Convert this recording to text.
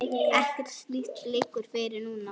Ekkert slíkt liggur fyrir núna.